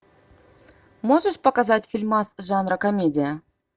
можешь показать фильмас жанра комедия